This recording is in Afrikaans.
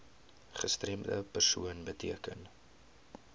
gestremde persoon beteken